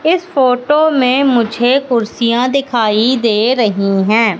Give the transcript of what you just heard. इस फोटो में मुझे कुर्सियां दिखाई दे रही हैं।